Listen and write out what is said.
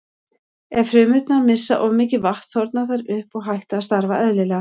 Ef frumurnar missa of mikið vatn þorna þær upp og hætt að starfa eðlilega.